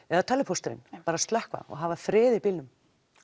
eða tölvupósturinn bara slökkva og hafa frið í bílnum